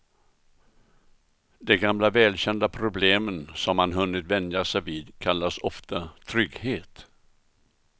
De gamla välkända problemen som man hunnit vänja sig vid kallas ofta trygghet.